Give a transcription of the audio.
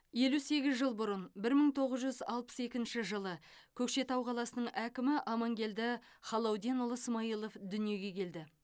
елу сегіз жыл бұрын бір мың тоғыз жүз алпыс екінші жылы көкшетау қаласының әкімі амангелді халауденұлы смаилов дүниеге келді